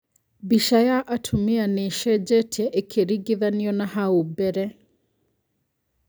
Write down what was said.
Mbica ya atumia nĩĩcejetie ĩkĩringithanio na hau mbeere